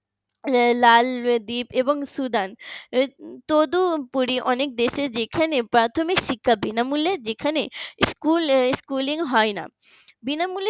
লালদীপ এবং সুদান তৎপরই অনেক দেশে যেখানে শিক্ষা বিনামূল্যে যেখানে schooling হয় না বিনামূল্যে